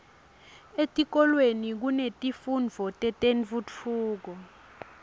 etikolweni kunetifundvo tetentfutfuko